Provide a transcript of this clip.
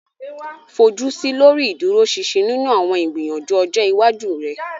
Fojusi lori iduroṣinṣin ninu awọn igbiyanju ọjọ iwaju rẹ.